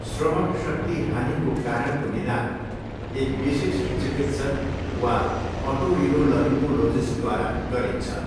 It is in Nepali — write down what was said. श्रवणशक्ति हानिको कारणको निदान एक विशेषज्ञ चिकित्सक वा ओटोरिनोलरीङ्गोलोजिस्टद्वारा गरिन्छ।